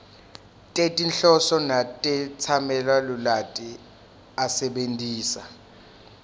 tetinhloso netetsamelilwati asebentisa